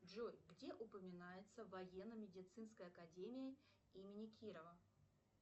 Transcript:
джой где упоминается военно медицинская академия имени кирова